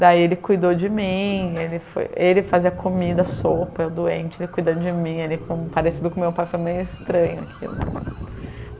Daí ele cuidou de mim, ele foi ele fazia comida, sopa, eu doente, ele cuidando de mim, ele parecido com meu pai, foi meio estranho aquilo.